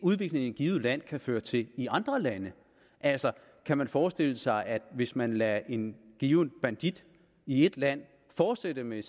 udvikling i et givet land kan føre til i andre lande altså kan man forestille sig at hvis man lader en given bandit i et land fortsætte med